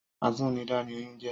Atúnidá ni oyún jẹ́